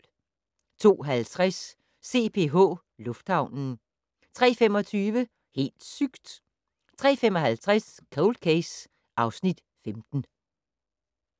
02:50: CPH Lufthavnen 03:25: Helt sygt! 03:55: Cold Case (Afs. 15)